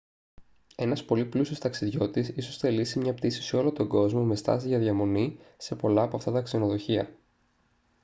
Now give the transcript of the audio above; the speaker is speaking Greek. ένας πολύ πλούσιος ταξιδιώτης ίσως θελήσει μια πτήση σε όλο τον κόσμο με στάσεις για διαμονή σε πολλά από αυτά τα ξενοδοχεία